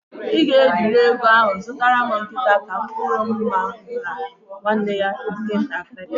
Ị ga ejiri ego ahụ zụtara m nkịta, ka Mkpụrụ Mma gwara nwanne ya nke ntakịrị.